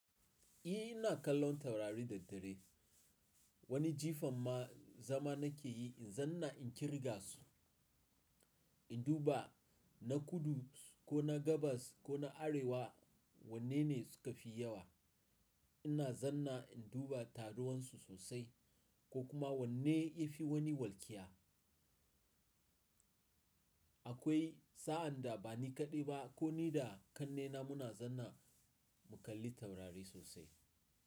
Eh ina kallon taurari da dare. Wani jifan ma zama na ke yi in zanna in kirga su, in duba na kudu ko na gabas ko na arewa wanne ne suka fi yawa. Ina zanna in duba taruwan su sosai ko kuma wanne ya fi wani walƙiya. Akwai sa'an da ba ni kaɗai ba ko ni da ƙannena muna zanna mu kalli taurari sosai.